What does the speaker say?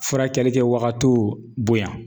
Furakɛli kɛ wagatiw bonya